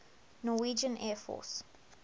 norwegian air force